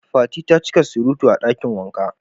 Fati ta ci ka surutu a dakin wanka.